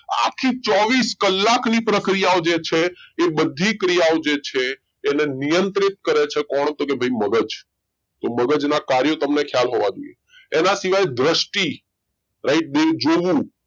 આખી ચોવીસ કલાકની પ્રક્રિયાઓ જે છે એ બધી ક્રિયાઓ જે છે એને નિયંત્રિત કરે છે કોણ તો ભાઈ મગજ તો મગજના કાર્યો તમને ખ્યાલ હોવા જોઈએ એના સિવાય દ્રષ્ટિ right બે જોવું